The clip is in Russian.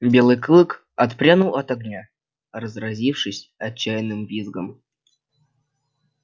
белый клык отпрянул от огня разразившись отчаянным визгом